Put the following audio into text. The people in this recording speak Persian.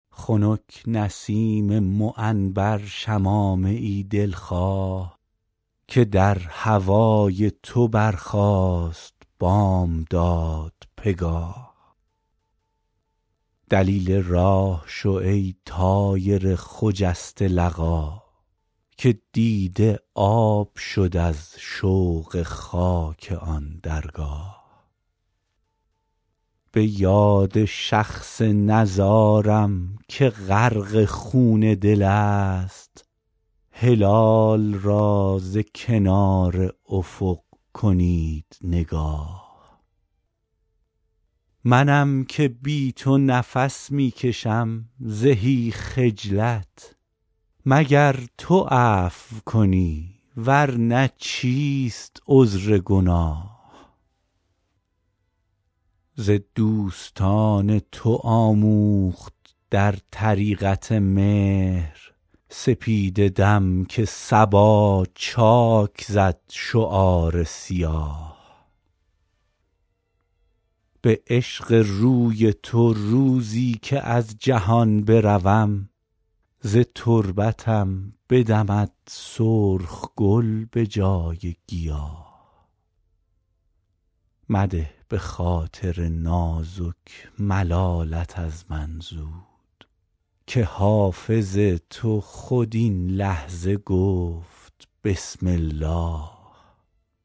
خنک نسیم معنبر شمامه ای دل خواه که در هوای تو برخاست بامداد پگاه دلیل راه شو ای طایر خجسته لقا که دیده آب شد از شوق خاک آن درگاه به یاد شخص نزارم که غرق خون دل است هلال را ز کنار افق کنید نگاه منم که بی تو نفس می کشم زهی خجلت مگر تو عفو کنی ور نه چیست عذر گناه ز دوستان تو آموخت در طریقت مهر سپیده دم که صبا چاک زد شعار سیاه به عشق روی تو روزی که از جهان بروم ز تربتم بدمد سرخ گل به جای گیاه مده به خاطر نازک ملالت از من زود که حافظ تو خود این لحظه گفت بسم الله